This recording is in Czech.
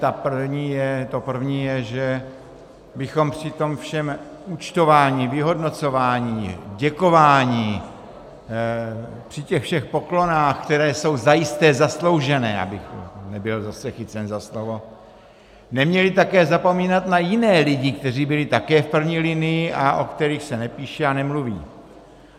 To první je, že bychom při tom všem účtování, vyhodnocování, děkování, při těch všech poklonách, které jsou zajisté zasloužené, abych nebyl zase chycen za slovo, neměli také zapomínat na jiné lidi, kteří byli také v první linii a o kterých se nepíše a nemluví.